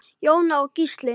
Jóna og Gísli.